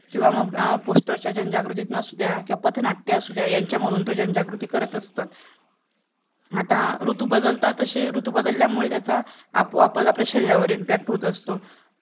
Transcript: किंवा मग POSTER च्या जनजागृती नसू द्या किंवा पथनाट्य असू द्या यांच्यामधून तो जनजागृती करत असतात आता ऋतू बदलतात तसे ऋतू बदलल्यामुळे त्याच्या आपोआपत आपले शरीरावर impact होत असतो